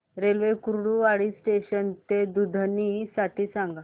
railway Kurduwadi junction ते दुधनी साठी सांगा